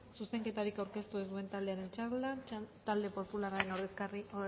zuzenketarik aurkeztu ez duen taldearen txanda talde popularraren